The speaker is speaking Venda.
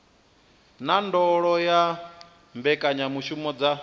na ndondolo ya mbekanyamushumo dza